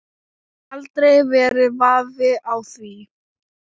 Aldrei verið vafi á því.